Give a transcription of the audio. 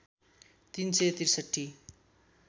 ३ सय ६३